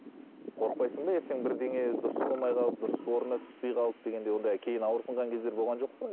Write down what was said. қорықпайсың ба ертең бірдеңе дұрыс болмай қалып дұрыс орнына түспей қалып дегендей ондай кейін ауырсынған кездер болған жоқ па